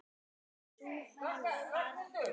Sú hola varð um